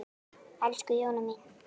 Elsku Jóna mín.